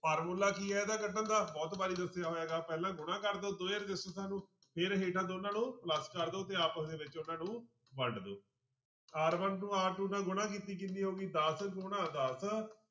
formula ਕੀ ਹੈ ਇਹਦਾ ਕੱਢਣ ਦਾ ਬਹੁਤ ਵਾਰੀ ਦੱਸਿਆ ਹੈਗਾ ਪਹਿਲਾਂ ਗੁਣਾ ਕਰ ਦਓ ਦੋਹੇਂ ਰਸਿਸਟੈਂਸਾਂ ਨੂੰ ਫਿਰ ਹੇਠਾਂ ਦੋਨਾਂ ਨੂੰ plus ਕਰ ਦਓ ਤੇ ਆਪਸ ਦੇ ਵਿੱਚ ਉਹਨਾਂ ਨੂੰ ਵੰਡ ਦਓ r one ਨੂੰ r two ਨਾਲ ਗੁਣਾ ਕੀਤੀ ਕਿੰਨੀ ਹੋ ਗਈ ਦਸ ਗੁਣਾ ਦਸ